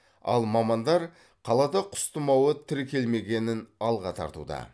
ал мамандар қалада құс тымауы тіркелмегенін алға тартуда